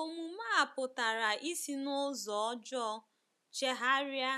Omume a pụtara isi n’ụzọ ọjọọ chegharia